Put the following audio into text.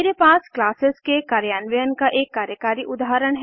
मेरे पास क्लासेस के कार्यान्वयन का एक कार्यकारी उदाहरण है